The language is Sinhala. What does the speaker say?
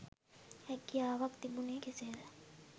හැකියාවක් තිබුණේ කෙසේද